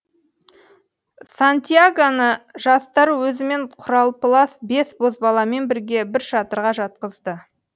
сантьягоны жастары өзімен құралпылас бес бозбаламен бірге бір шатырға жатқызды